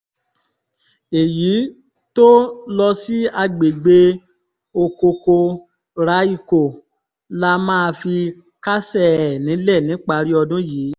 èyí tó lọ sí àgbègbè okokoraiko la máa fi kásẹ̀ ẹ̀ nílẹ̀ níparí ọdún yìí